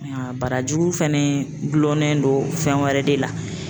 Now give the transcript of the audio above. Barajuru fana gulonnen don fɛn wɛrɛ de la.